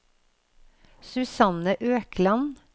Susanne Økland